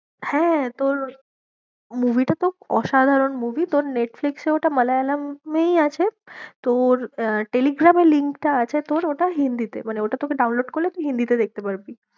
হ্যাঁ, তোর movie টা তোর অসাধারণ movie তোর নেটফ্লিক্সে ওটা মালয়ালমেই আছে তোর আহ টেলিগ্রামের link টা আছে তোর ওটা হিন্দিতে মানে ওটা তোকে download করলে তুই হিন্দিতে দেখতে পারবি।